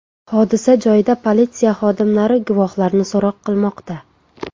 Hodisa joyida politsiya xodimlari guvohlarni so‘roq qilmoqda.